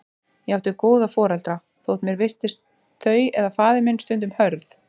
Ég átti góða foreldra, þótt mér virtist þau eða faðir minn stundum hörð.